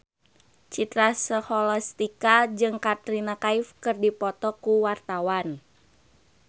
Citra Scholastika jeung Katrina Kaif keur dipoto ku wartawan